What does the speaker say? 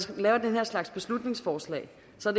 laver den her slags beslutningsforslag